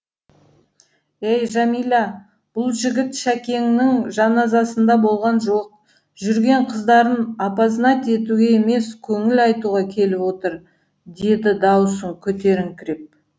ей жамила бұл жігіт шәкеңнің жаназасында болған жоқ жүрген қыздарын опознать етуге емес көңіл айтуға келіп отыр деді даусын көтеріңкіреп